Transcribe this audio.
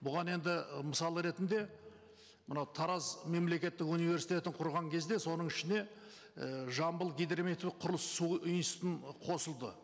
бұған енді мысал ретінде мынау тараз мемлекеттік университетін құрған кезде соның ішіне і жамбыл гидрометеоқұрылыссу институты қосылды